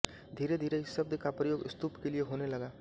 धीरेधीरे इस शब्द का प्रयोग स्तूप के लिये होने लगा